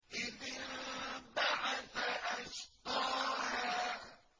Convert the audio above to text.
إِذِ انبَعَثَ أَشْقَاهَا